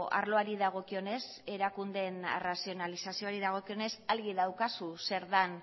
arloari dagokionez erakundeen arrazionalizazioari dagokionez argi daukazu zer den